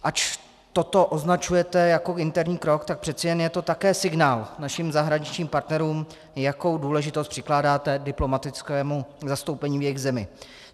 Ač toto označujete jako interní krok, tak přece jen je to také signál našim zahraničním partnerům, jakou důležitost přikládáte diplomatickému zastoupení v jejich zemi.